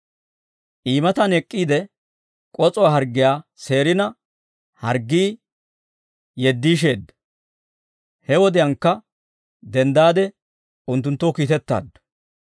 I matan ek'k'iide k'os'uwaa harggiyaa seerina, harggii yeddiisheedda; he wodiyaankka denddaade unttunttoo kiitettaaddu.